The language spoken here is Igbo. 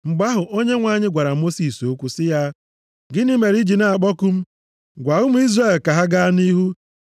Mgbe ahụ, Onyenwe anyị gwara Mosis okwu sị ya, “Gịnị mere i ji na-akpọku m. Gwa ụmụ Izrel ka ha gaa nʼihu.